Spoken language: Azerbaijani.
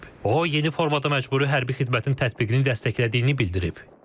O, yeni formada məcburi hərbi xidmətin tətbiqini dəstəklədiyini bildirib.